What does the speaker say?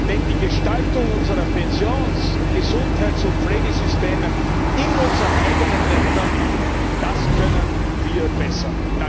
Denn die Gestaltung unserer Pensions Gesundheits und Pflegesysteme in unseren eigenen Ländern das können wir besser!